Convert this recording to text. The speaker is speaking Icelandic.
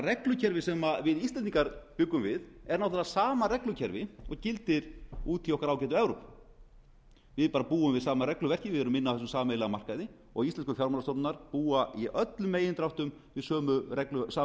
reglukerfi sem við íslendingar bjuggum við er náttúrlega sama reglukerfi og gildir úti í okkar ágætu evrópu við búum við sama regluverkið við erum inni á þessum sameiginlega markaði og íslensku fjármálastofnanirnar búa í öllum megindráttum við sama